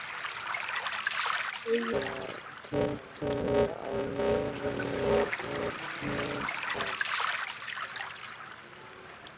BAUJA: Tuttugu á leiðinni úr Hnífsdal.